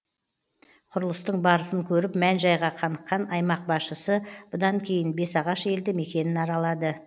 құрылыстың барысын көріп мән жайға қаныққан аймақ басшысы бұдан кейін бесағаш елді мекенін аралады